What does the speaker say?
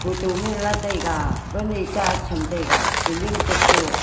to man la taiga wan e cha cham taiga selling tok to.